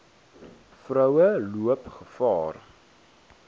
vroue loop gevaar